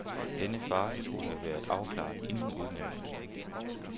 Denne farce skulle have været afklaret inden udnævnelsen.